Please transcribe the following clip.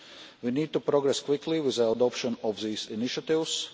We need to progress quickly with the adoption of these initiatives.